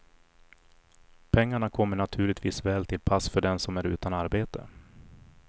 Pengarna kommer naturligtvis väl till pass för den som är utan arbete.